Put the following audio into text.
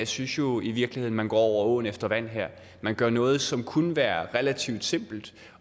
synes jo i virkeligheden man går over åen efter vand her man gør noget som kunne være relativt simpelt